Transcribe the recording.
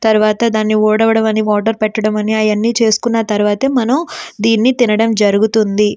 తర్వాత దాన్ని ఊడవడం అనేది వాటర్ పెట్టడం అన్ని చేసుకోడం జరుగుతుంది. దాని తర్వాతే మనం దీనిని తినడం జరుగుతుంది.